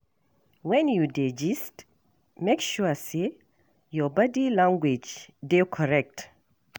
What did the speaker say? When you dey gist, make sure say your body language dey correct.